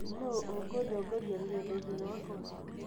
Nũ ũkũndongoria rũgendo-inĩ rwakwa?